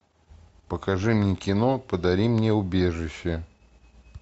покажи мне кино подари мне убежище